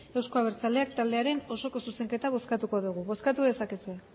euzko abertzaleak taldearen osoko zuzenketa bozkatuko dugu bozkatu dezakezue